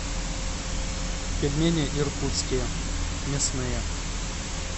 пельмени иркутские мясные